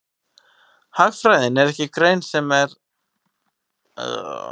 Hagfræðin er ekki grein sem ætlað er að gefa fullnægjandi svör við öllum spurningum.